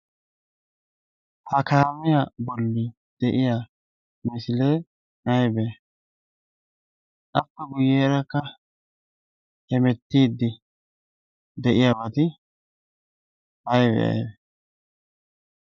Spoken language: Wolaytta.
ha kaamiya bolli de'iya misilee aybee appe guyyeerakka hemettiiddi de'iyaabaati aybe